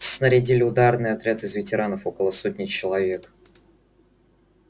снарядили ударный отряд из ветеранов около сотни человек